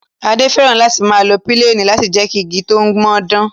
Adé fẹ́ràn láti máa lo píléènì láti jẹ́ kí igi tó ń mọ dán